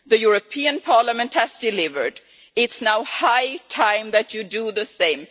The European Parliament has delivered, and it is now high time that you do the same.